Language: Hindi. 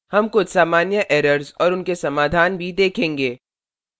हम कुछ सामान्य errors और उनके समाधान भी देखेंगे